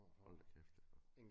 Hold da kæft ja